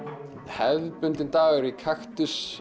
hefðbundinn dagur í